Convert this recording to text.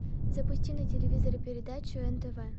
запусти на телевизоре передачу нтв